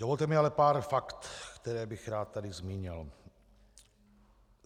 Dovolte mi ale pár fakt, která bych rád tady zmínil.